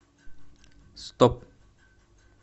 стоп